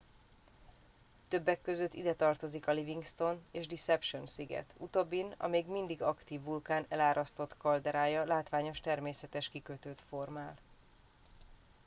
többek között ide tartozik a livingston és deception sziget utóbbin a még mindig aktív vulkán elárasztott kalderája látványos természetes kikötőt formál